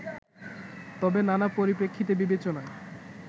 তবে নানা পরিপ্রেক্ষিত বিবেচনায়